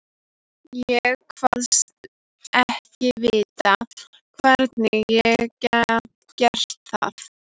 Ég kvaðst ekki vita, hvernig ég gæti gert það.